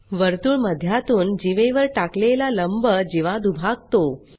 वर्तुळ मध्यातून जीवेवर टाकलेला लंब जीवा दुभागतो